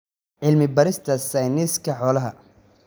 Cilmi-baarista Sayniska Xoolaha.